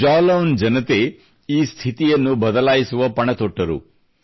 ಜಾಲೌನ್ ಜನತೆ ಈ ಸ್ಥಿತಿಯನ್ನು ಬದಲಾಯಿಸುವ ಪಣತೊಟ್ಟರು